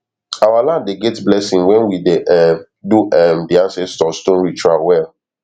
our land dey get blessing when we dey um do um di ancestor stone ritual well